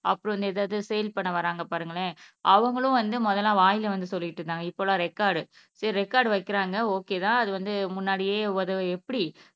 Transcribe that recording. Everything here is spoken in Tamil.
அப்புறம் ஏதாவது சேல் பண்ண வர்றாங்க பாருங்களேன் அவங்களும் வந்து முதல்ல வாயில வந்து சொல்லிட்டு இருந்தாங்க இப்ப எல்லாம் ரெக்கார்டு சரி ரெக்கார்ட் வைக்கிறாங்க ஓகே தான் அது வந்து முன்னாடியே எப்படி